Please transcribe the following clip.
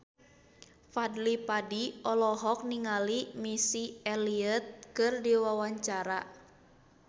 Fadly Padi olohok ningali Missy Elliott keur diwawancara